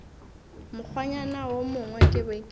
mokgwanyana wo mongwe ke be